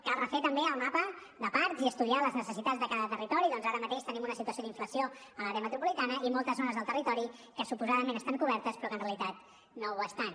cal refer també el mapa de parcs i estudiar les necessitats de cada territori ja que ara mateix tenim una situació d’inflació a l’àrea metropolitana i moltes zones del territori que suposadament estan cobertes però que en realitat no ho estan